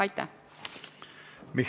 Aitäh!